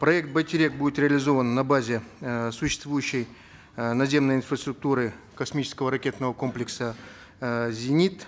проект байтерек будет реализован на базе э существующей э наземной инфраструктуры космического ракетного комплекса э зенит